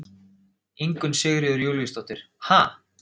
Ingunn Sigríður Júlíusdóttir: Ha?